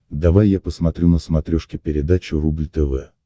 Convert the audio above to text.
давай я посмотрю на смотрешке передачу рубль тв